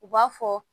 U b'a fɔ